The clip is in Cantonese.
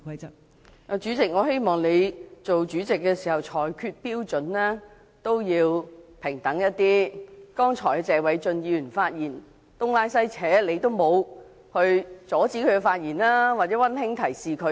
代理主席，我希望你當主席時，裁決標準亦要平等一點，謝偉俊議員剛才發言時東拉西扯，你都沒有阻止他或"溫馨提示"他。